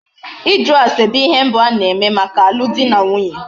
Ịjụ ase bụ ihe mbụ a na-eme maka alụ dị na nwunye.